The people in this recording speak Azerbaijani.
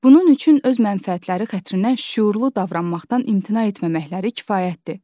Bunun üçün öz mənfəətləri xəttindən şüurlu davranmaqdan imtina etməməkləri kifayətdir.